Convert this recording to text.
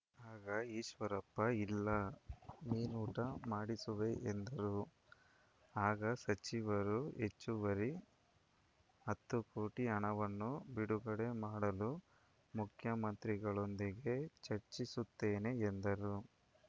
ಆಗ ಈಶ್ವರಪ್ಪ ಇಲ್ಲ ಮೀನೂಟ ಮಾಡಿಸುವೆ ಎಂದರು ಆಗ ಸಚಿವರು ಹೆಚ್ಚುವರಿ ಹತ್ತು ಕೋಟಿ ಹಣವನ್ನು ಬಿಡುಗಡೆ ಮಾಡಲು ಮುಖ್ಯಮಂತ್ರಿಗಳೊಂದಿಗೆ ಚರ್ಚಿಸುತ್ತೇನೆ ಎಂದರು